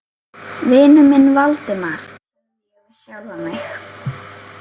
Vinur minn Valdimar, sagði ég við sjálfan mig.